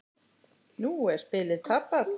Nú er spilið tapað.